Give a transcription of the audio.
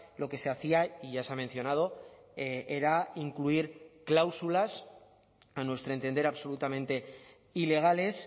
lo que se hacía y ya se ha mencionado era incluir cláusulas a nuestro entender absolutamente ilegales